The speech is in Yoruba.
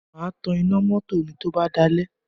Mà á tan iná mọ́tò mi tó bá dalẹ̀